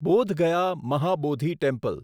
Bodh Gaya Mahabodhi temple